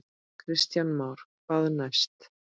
Kristján Már: Hvað næst?